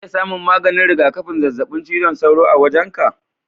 Zan iya samun maganin rigakafin zazzabin cizon sauro a wajenka?